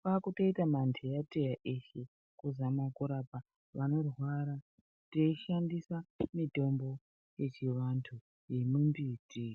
kwakutoita manheyateya eshe. Kuzama kurapa vanorwara tei shandisa mitombo yechivantu yemumbiti.